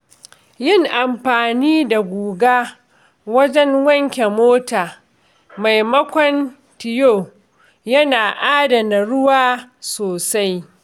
Yin amfani da guga wajen wanke mota maimakon tiyo yana adana ruwa sosai.